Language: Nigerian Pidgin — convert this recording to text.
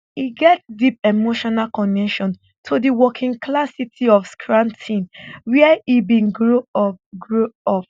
e get deep emotional connection to di workingclass city of scranton wia e bin grow up grow up